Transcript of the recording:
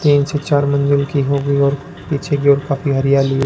तीन से चार मंजिल की होगी और पीछे की ओर काफी हरियाली है।